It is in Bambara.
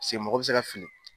Paseke mɔgɔ bɛ se ka fili